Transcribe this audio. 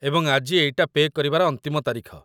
ଏବଂ ଆଜି ଏଇଟା ପେ' କରିବାର ଅନ୍ତିମ ତାରିଖ